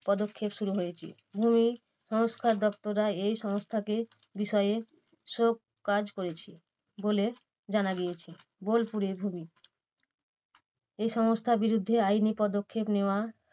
পদক্ষেপ শুরু হয়েছে। ভূমিসংস্কার দপ্তররা এই সংস্থাকে বিষয়ে সব কাজ হয়েছে, বলে জানা গিয়েছে। বোলপুরে ভূমি এই সংস্থার বিরুদ্ধে আইনি পদক্ষেপ নেওয়া